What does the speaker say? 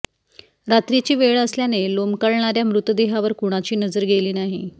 रात्रीची वेळ असल्याने लोंबकळणाऱ्या मृतदेहावर कुणाची नजर गेली नाही